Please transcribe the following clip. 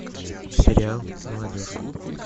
сериал молодежка